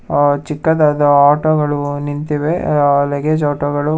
ಆ ಚಿಕ್ಕದಾದ ಆಟೋಗಳು ನಿಂತಿವೆ ಲಗೇಜ್ ಆಟೋಗಳು--